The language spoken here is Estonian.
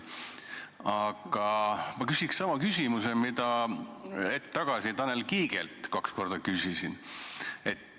Aga ma küsin sama küsimuse, mida ma hetk tagasi Tanel Kiigelt kaks korda küsisin.